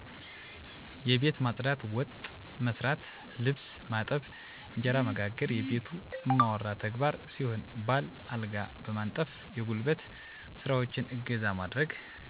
የቤት ማፅዳት፣ ወጥ መሥራት፣ ልብስ ማጠብ፣ እንጀራ መጋገር የቤቱ እማወራ ተግባር ሲሆን ባል አልጋ በማንጠፍ የጉልበት ስራዎችን እገዛ ማድረግ